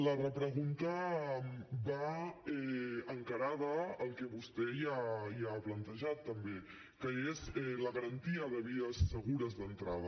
la repregunta va encarada al que vostè ja ha plantejat també que és la garantia de vies segures d’entrada